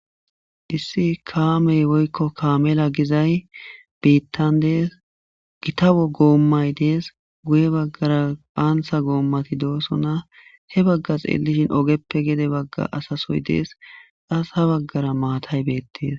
issi kaamey woykko kaamela gizay biittan dees gitawo goommay dees guye baggara phaansa goommati doosona he baggas eelishin ogeppe gede bagga asasoy dees as ha baggara maatay beettees